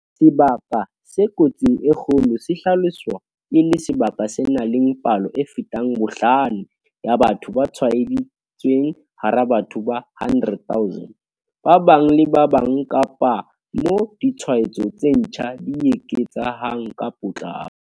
Sebaka se kotsing e kgolo se hlaloswa e le sebaka se nang le palo e fetang bohlano ya batho ba tshwaeditsweng hara batho ba 100 000 ba bang le ba bang kapa moo ditshwaetso tse ntjha di eketsehang ka potlako.